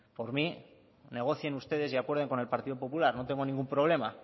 por mí negocien ustedes y acuerden con el partido popular no tengo ningún problema